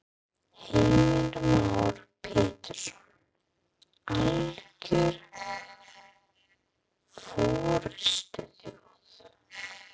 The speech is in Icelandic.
Heimir Már Pétursson: Alger forystuþjóð?